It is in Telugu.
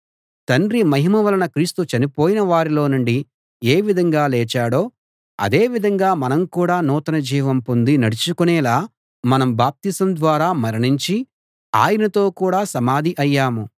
తండ్రి మహిమ వలన క్రీస్తు చనిపోయిన వారిలోనుండి ఏ విధంగా లేచాడో అదే విధంగా మనం కూడా నూతన జీవం పొంది నడుచుకొనేలా మనం బాప్తిసం ద్వారా మరణించి ఆయనతో కూడా సమాధి అయ్యాము